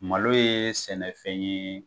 Malo ye sɛnɛfɛn ye